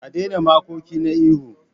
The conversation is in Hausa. A daina makoki na yi ihu.